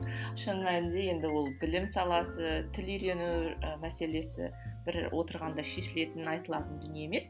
шын мәнінде ол енді білім саласы тіл үйрену мәселесі бір отырғанда шешілетін айтылатын дүние емес